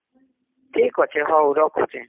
ଠିକ ଅଛେ ହଉ ରଖୁଛେ